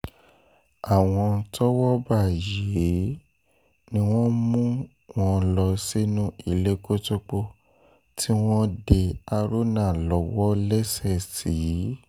àwọn tọ́wọ́ bá yìí ni wọ́n mú wọn lọ sínú ilé kótópó tí wọ́n dé haruna lọ́wọ́ lẹ́sẹ̀ sí